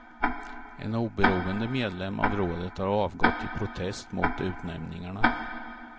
En oberoende medlem av rådet har avgått i protest mot utnämningarna.